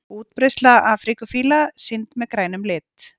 Útbreiðsla afríkufíla sýnd með grænum lit.